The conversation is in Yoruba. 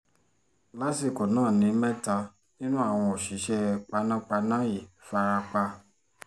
lásìkò náà ni mẹ́ta nínú àwọn òṣìṣẹ́ panápaná yìí fara pa